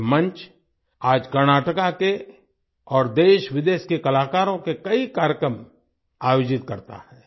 ये मंच आज कर्नाटका के और देशविदेश के कलाकारों के कई कार्यक्रम आयोजित करता है